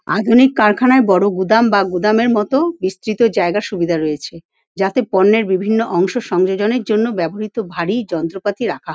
আধুনিক কারখানায় বড়ো গুদাম বা গুদামের মত বিস্তৃত জায়গার সুবিধা রয়েছে যাতে পণ্যের বিভিন্ন অংশ সংযোজনের জন্য ব্যবহৃত ভারি যন্ত্রপাতি রাখা --